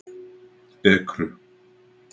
Ekru